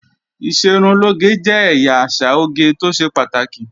Ìṣerunlóge jẹ́ ẹ̀yà àṣà oge tó ṣe pàtàkì